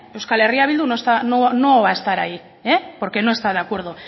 euskal herria bildu no va a estar ahí porque no está de acuerdo